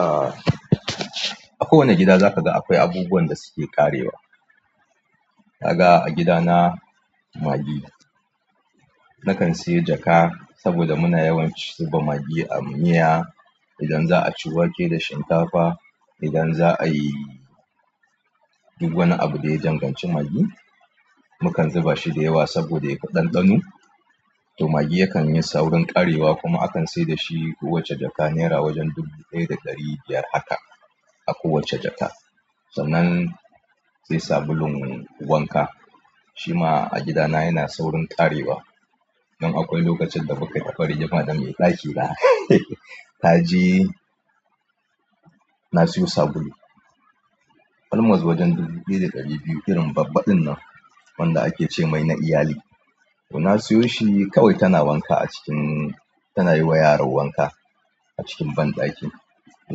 Aa kowane gida za ka ga akwai abubuwan da suke ƙarewa, kaga a gidana Maggi. Nakan sayi jaka saboda muna yawan zuba Maggi a miya. Idan za a ci wake da shinkafa, idan za a yi du wani abu da ya danganci Maggi, mukan zuba shi da yawa saboda yafi ɗanɗano. To Maggi yakan yi saurin ƙarewa kuma akan sai da shi kowace jaka nera wajen dubu ɗaya da ɗari biyar haka a kowace jaka, sannan sai sabulun wanka. Shima a gidana yana saurin ƙarewa. Nan akwai lokacin da muka tafi rigima da mai ɗakina na je na siyo sabulu. Almost wajen dubu ɗaya da ɗari biyu irin babban ɗin nan wanda ake ce mai na iyali, to na syo shi kawai tana wanka a cikin, tana yi wa yara wanka a cikin banɗaki. To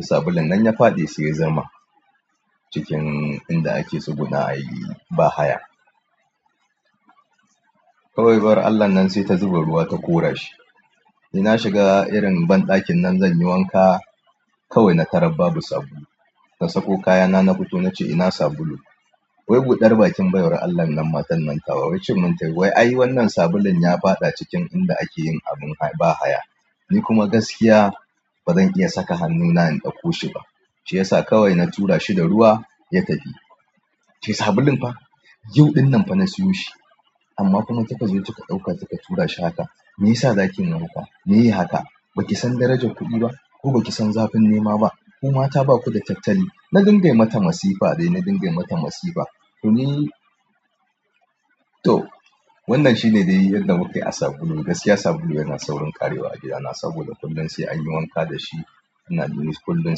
sabulun nan ya faɗi sai ya zama cikin inda ake tsugunna ayi bahaya. Kawai baiwar Allah nan sai ta zuba ruwa ta kora shi. Ni na shiga irin banɗakin nan zan yi wanka kawai na tara babu sabulu. Na sako kayana na fito na ce ina sabulu, wai buɗar bakin baiwar Allah nan matar nan tawa wacce mun ta yi wai ai wannan sabulun ya faɗa cikin inda ake yin abun bahaya. Ni kuma gaskiya bazan iya saka hannu na in ɗauko shi ba, shi yasa kawai na tura shi da ruwa ya tafi, nace sabulun fah yau ɗinnan fa na sayo shi amma kuma kika zo kika ɗauka kika tura shi haka, meyasa zakin yiman haka? Meyi haka? Baki san darajan kuɗi ba? Ko baki san zafin nema ba? Ku mata baku da tattali. Na dinga mata masifa dai na dinga mata masifa, to wannan shine dai yadda muke yi a sabulu. Gaskiya sabulu yana saurin ƙarewa a gidana saboda kullun sai an yi wanka da shi. Ina lura dashi kullum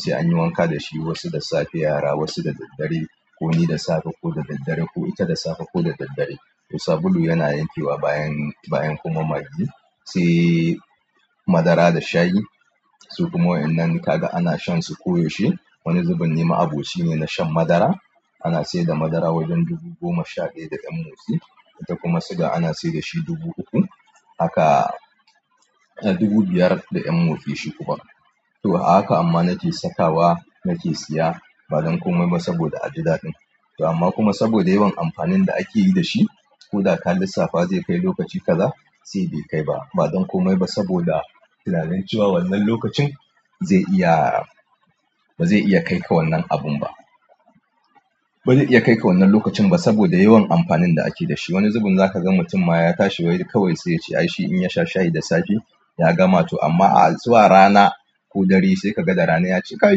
sai an yi wanka da shi wasu da safe yara wasu da daddare. Ko ni da safe ko da daddare ko ita da safe ko da daddare. To sabulu yana yankewa bayan kuma maggi sai kuma madara da shayi, su kuma waƴannan kaga ana shan su koyaushe. Wani zubin ni ma abi cine na shan madara. Ana saida madara wajen dubu goma sha ɗaya da ɗan motsi ita kuma suga ana saida shi dubu ukku, haka dubu biyar da ɗan motsi shi kuma. To a haka amma nake sakawa nake siya ba don komai ba saboda a gida ɗin. To amma kuma saboda yawan amfanin da ake yi da shi. Ko da ka lissafa zai kai lokaci kaza sai bai kai ba. Ba don komai ba saboda tunanin cewa wannan lokacin zai iya ba zai iya kai ka wannan abun ba. Ba zai iya kai ka wannan lokacin ba saboda yawan amfanin da ake da shi. Wani zubin za ka ga mutum ma ya tashi wai kawai sai ya ce ai shi in ya sha shayi da safe ya gama to amma a zuwa rana ko dare sai ka ga da rana ya ce kai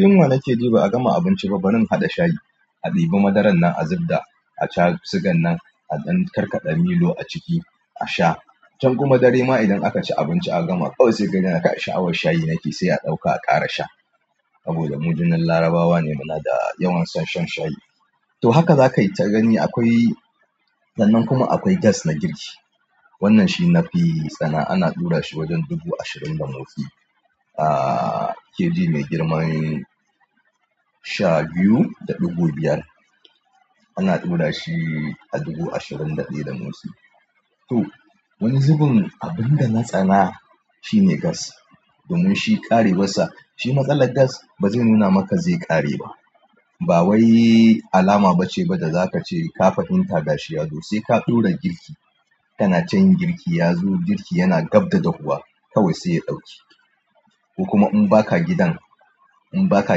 yunwa nake ji ba a gama abinci ba barin haɗa shayi, a ɗibi madaran nan a zubda a sha sugan nan a ɗan karkaɗa milo a ciki a sha. Can kuma dare ma idan aka ci abinci aka gama ƙawai sai ka ga yana kai a sha'awar shayi nake sai a ɗauka a ƙara sha. Saboda mu jinin Larabawa ne muna da yawan son shan shayi. To haka zakai ta gani akwai sannan kuma akwai gas na girki, wannan shi nafi tsana, ana ɗura shi wajen dubu ashirin da motsi. A kg mai girman sha biyu da ɗigo biyar. Ana ɗura shi a dubu ashirin da ɗaya da motsi. To wani zubin abun da na tsana shine gas, domin shi ƙarewa sa shi matsalar gas ba zai nuna maka zai ƙare ba. Ba wai alama bace ba da zakace ka fahimta ga shi ya zo. Sai ka ɗora girki tana can girki ya zo girki yana gabda dahuwa kawai sai ya ɗauke. Ku kuma in baka gidan, in baka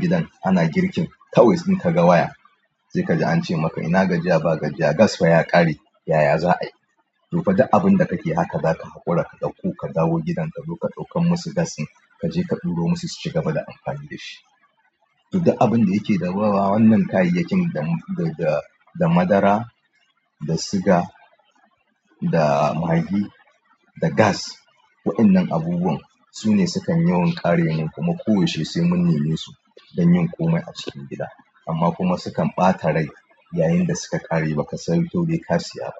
gidan ana girkin kawai sai ka ga waya sai kaji ance maka ina gajiya ba gajiya gas fa ya ƙare yaya za a yi. To fa du abun da kake haka zaka haƙura ka ɗauko ka dawo gidanka ko ka ɗaukan musu gas din kaje ka ɗuro musu su ci gaba da amfani da shi. To du abun da yake da ruwa wannan kayayyakin da, da, da madara, da suga, da Maggi, da gas. Wa innan abubuwan su ne sukan yawan ƙare nan kuma koyaushe sai mun nemi su don yin komai a cikin gida. Amma kuma sukan ɓata rai yayin da suka ƙare ba ka sani to bai ka siya ba.